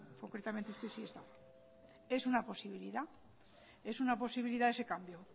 concretamente este sí estaba es una posibilidad es una posibilidad ese cambio